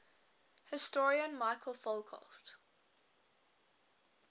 historian michel foucault